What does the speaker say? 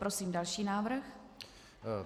Prosím další návrh.